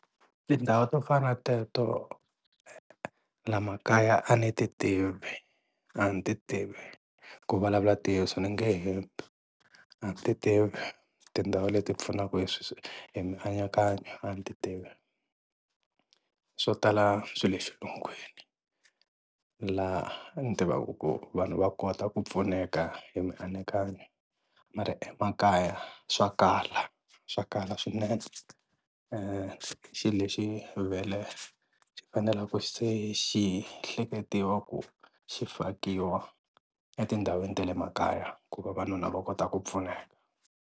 Tindhawu to fana teto la makaya a ni ti tivi a ni ti tivi ku vulavula ntiyiso ni nge hembi a ni ti tivi tindhawu leti pfunaka hi hi mianakanyo a ni ti tivi, swo tala swi le xilungwini la ni tivaka koho vanhu va kota ku pfuneka hi mianakanyo mara emakaya swa kala swa kala swinene xi lexi vhele xi fanele ku se xi hleketiwa ku xi fakiwa etindhawini ta le makaya ku va vanhu na vona va kota ku pfuneka.